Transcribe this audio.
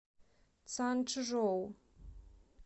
цанчжоу